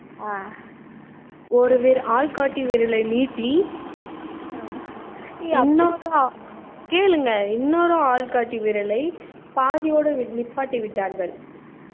அஹ் ஒரு விர~ ஆள் காட்டி விரலை நீட்டி இன்னொரு கேளுங்க இன்னொரு ஆள் காட்டி விரலை பாதியோடு நிப்பாட்டி விட்டார்கள்